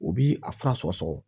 U bi a fura sɔgɔ sɔgɔ